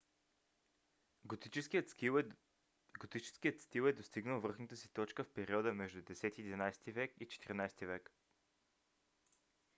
готическият стил е достигнал връхната си точка в периода между 10–11 век и 14-ти век